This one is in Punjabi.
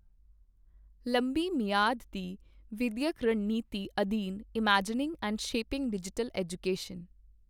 ਲੰਬੀ ਮਿਆਦ ਦੀ ਵਿੱਦਿਅਕ ਰਣਨੀਤੀ ਅਧੀਨ imagining and shaping digital education